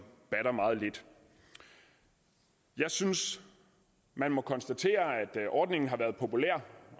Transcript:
batter meget lidt jeg synes man må konstatere at ordningen har været populær